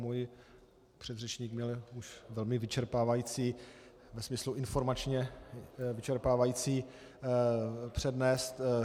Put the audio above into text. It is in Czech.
Můj předřečník měl už velmi vyčerpávající - ve smyslu informačně vyčerpávající přednes.